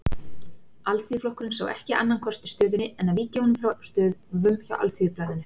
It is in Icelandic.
Alþýðuflokkurinn sá ekki annan kost í stöðunni en að víkja honum frá störfum hjá Alþýðublaðinu.